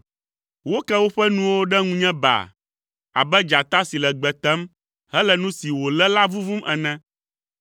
Woke woƒe nuwo ɖe ŋunye baa abe dzata si le gbe tem hele nu si wòlé la vuvum ene.